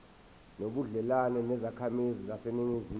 nobudlelwane nezakhamizi zaseningizimu